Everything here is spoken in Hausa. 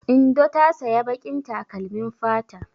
Indo ta saya baƙin takalmin fata.